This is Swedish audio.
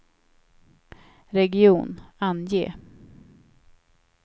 region, ange